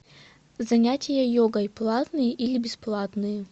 занятия йогой платные или бесплатные